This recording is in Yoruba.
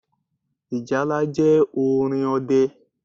Ìjálá jẹ́ orin ọdẹ